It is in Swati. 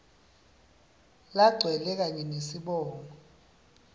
lagcwele kanye nesibongo